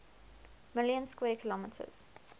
million square kilometers